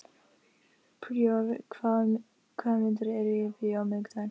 Príor, hvaða myndir eru í bíó á miðvikudaginn?